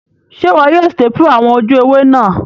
Sé wo yio staple àwon ojú ewé náà